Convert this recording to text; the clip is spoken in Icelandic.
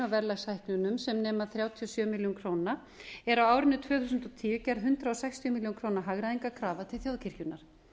að þá þyrfti sem nema þrjátíu og sjö milljónir króna er á árinu tvö þúsund og tíu gerð hundrað sextíu milljónir króna hagræðingarkrafa til þjóðkirkjunnar